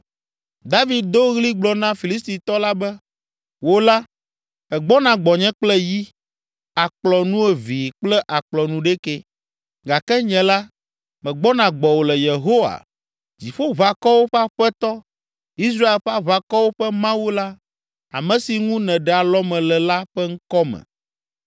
David do ɣli gblɔ na Filistitɔ la be, “Wò la, ègbɔna gbɔnye kple yi, akplɔ nuevee kple akplɔ nuɖekɛ, gake nye la, megbɔna gbɔwò le Yehowa, Dziƒoʋakɔwo ƒe Aƒetɔ, Israel ƒe Aʋakɔwo ƒe Mawu la ame si ŋu nèɖe alɔme le la ƒe ŋkɔ me.